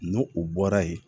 N'o o bɔra yen